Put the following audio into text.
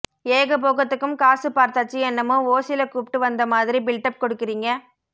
ஏக போகத்துக்கும் காசு பார்த்தாச்சு என்னமோ ஓசில கூப்டு வந்தமாதிரி பில்டப் கொடுக்கிறீங்க